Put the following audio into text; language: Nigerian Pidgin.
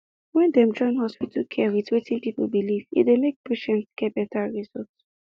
when dem join hospital care with wetin people believe e dey make patients get better result